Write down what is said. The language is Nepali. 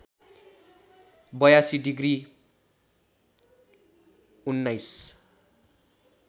८२ डिग्री १९